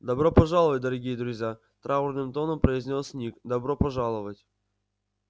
добро пожаловать дорогие друзья траурным тоном произнёс ник добро пожаловать